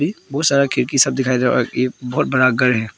बहुत सारा खिड़की सब दिखाई दे रहा और ई बहुत बड़ा घर है।